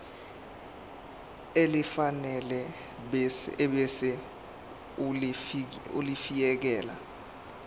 elifanele ebese ulifiakela